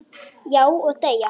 Já, og deyja